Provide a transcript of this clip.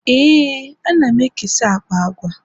ee, ana m ekesa akpa agwa